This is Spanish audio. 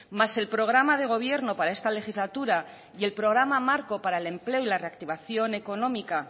más el programa de gobierno para esta legislatura y el programa marco para el empleo y la reactivación económica